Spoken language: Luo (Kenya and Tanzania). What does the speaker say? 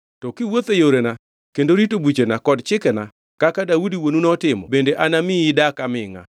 To kiwuotho e yorena kendo rito buchena kod chikena kaka Daudi wuonu notimo bende anamiyi idak amingʼa.”